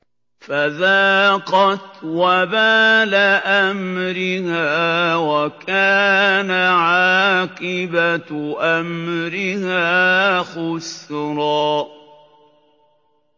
فَذَاقَتْ وَبَالَ أَمْرِهَا وَكَانَ عَاقِبَةُ أَمْرِهَا خُسْرًا